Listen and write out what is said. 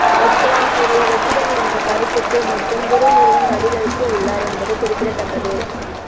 ரஜினிகாந்த் கூறிய வெற்றிடம் என்ற கருத்துக்கு மட்டும் துரைமுருகன் பதிலளித்து உள்ளார் என்பது குறிப்பிடத்தக்கது